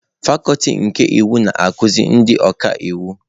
Fakuti nke iwu na-azụ ndị ọka iwu.